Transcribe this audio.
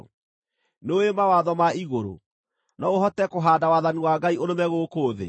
Nĩũũĩ mawatho ma igũrũ? No ũhote kũhaanda wathani wa Ngai ũrũme gũkũ thĩ?